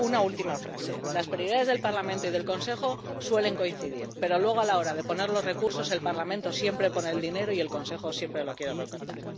Una última frase las prioridades del Parlamento y del Consejo suelen coincidir, pero, luego, a la hora de poner los recursos, el Parlamento siempre pone el dinero y el Consejo siempre lo quiere recortar.